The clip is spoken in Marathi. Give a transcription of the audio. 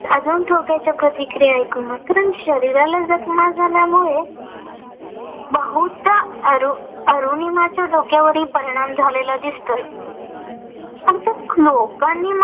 अजून टोकाच्या प्रतिक्रिया ऐकून. कारण शरीराला जखमा झाल्यामुळे बहुदा अरुनिमाच्या डोक्यावरही परिणाम झालेला दिसतोय. फक्त लोकांनी मला